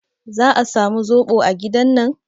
Za a samu zoɓo a gidan nan?